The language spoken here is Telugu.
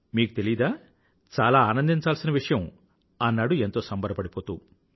మీకు తెలీదా చాలా ఆనందించాల్సిన విషయం అన్నాడు ఎంతో సంబరపడిపోతూ